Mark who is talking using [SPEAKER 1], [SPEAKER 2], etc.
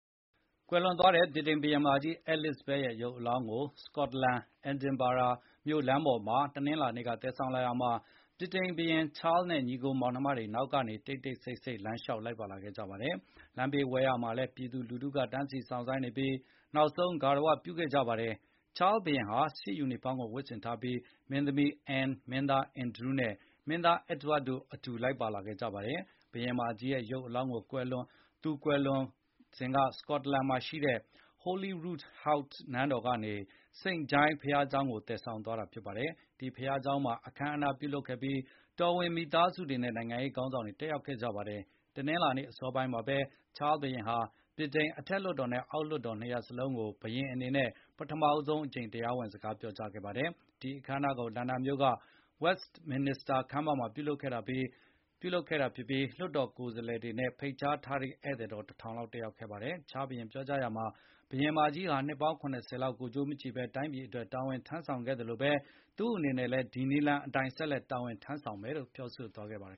[SPEAKER 1] ကွယ်လွန်သွားတဲ့ ဗြိတိန်ဘုရင်မကြီး Elizabeth ရဲ့ရုပ်အလောင်းကို စကော့တလန် Edinburgh လမ်းပေါ်မှာ တနင်္လာနေ့က သယ်ဆောင်လာရာမှာ ဗြိတိန်ဘုရင် ချားလ်နဲ့ ညီအကိုမောင်နှမတွေကနောက်ကနေ တိတ်တိတ်ဆိတ်ဆိတ် လမ်းလျှောက်လိုက်ပါ လာခဲ့ကြပါတယ်။ လမ်းဘေးဝဲယာမှာလည်းပြည်သူလူထုကတန်းစီစောင့်ဆိုင်းနေပြီး နောက်ဆုံးဂါရဝပြုခဲ့ကြပါတယ်။ ချားစ်ဘုရင်ဟာ စစ်ယူနီဖေါင်းကိုဝတ်ဆင်ထားပြီး၊ မင်းသမီး အန်းန်၊ မင်းသား အန်ဒရူးနဲ့ မင်းသားအက်ဒဝပ်တို့ အတူ လိုက်ပါလာခဲ့ကြပါတယ်။ ဘုရင်မကြီးရဲ့ရုပ်အလောင်းကို သူကွယ်လွန်ခဲ့တဲ့ စကော့တလန်မှာရှိတဲ့ Holyroodhouse နန်းတော်ကနေ စိန့် Giles ဘုရားကျောင်းကိုသယ်ဆောင်သွားတာဖြစ်ပါတယ်။ ဒီဘုရားကျောင်းမှာ အခမ်းအနား ပြုလုပ်ခဲ့ပြီး တော်ဝင်မိသားစုတွေနဲ့နိုင်ငံရေးခေါင်းဆောင်တွေတက်ရောက်ခဲ့ကြပါတယ်။ တနင်္လာနေ့အစောပိုင်းမှာဘဲ ချား ဘုရင်ဟာ ဗြိတိန်ရဲ့ အထက်လွှတ်တော်နဲ့အောက်လွှတ်တော်နှစ်ရပ်လုံးကို ဘုရင်အနေ နဲ့ ပထမဆုံးအကြိမ်တရားဝင်စကားပြောကြားခဲ့ပါတယ်။ ဒီအခမ်းအနားကို လန်ဒန်မြို့က Westminister Hall မှာပြုလုပ်ခဲ့တာဖြစ်ပြီး လွှတ်တော်ကိုယ်စားလှယ်တွေနဲ့ဖိတ်ကြား ထားတဲ့ဧည့်သည်တော် ၁၀၀၀ လောက်တက်ရောက်ခဲ့ကြပါတယ်။ ချားစ် ဘုရင်ကပြောကြားရာမှာ ဘုရင်မကြီးဟာ နှစ်ပေါင်း ၇၀ ကိုယ်ကျိုးမကြည့်ဘဲတိုင်းပြည်အတွက်တာဝန်ထမ်းဆောင် ခဲ့သလိုဘဲ သူ့အနေနဲ့လည်းဒီနည်လမ်းအတိုင်းတာဝန်ထမ်းဆောင်သွားမယ်လို့ ထည့်သွင်းပြောကြားခဲ့ပါတယ်